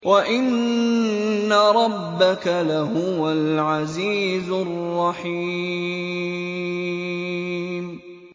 وَإِنَّ رَبَّكَ لَهُوَ الْعَزِيزُ الرَّحِيمُ